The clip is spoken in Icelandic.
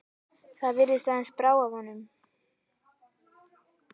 Það virðist aðeins brá af honum.